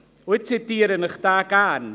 Ich zitiere diese Artikel gerne: